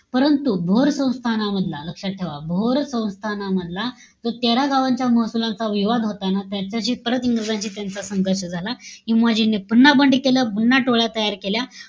परंतु, भोर संस्थानामधला, लक्षात ठेवा, भोर संस्थानामधला जो तेरा गावांचा महसुलांचा विवाद होता ना, त्याच्याशी परत इंग्रजांशी त्यांचा संघर्ष झाला. उमाजींनी पुन्हा बंड केलं. पुन्हा टोळ्या तयार केल्या.